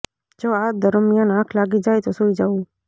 જો આ દરમિયાન આંખ લાગી જાય તો સૂઈ જવું